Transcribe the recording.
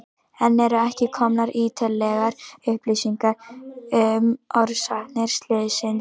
Enn eru ekki komnar ítarlegar upplýsingar um orsakir slyssins.